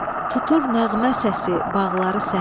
Tutur nəğmə səsi bağları səhər.